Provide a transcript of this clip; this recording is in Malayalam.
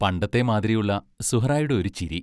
പണ്ടത്തെ മാതിരിയുള്ള സുഹ്റായുടെ ഒരു ചിരി